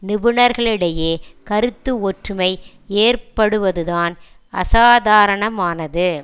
நிபுணர்களிடையே கருத்து ஒற்றுமை ஏற்படுவதுதான் அசாதாரணமானது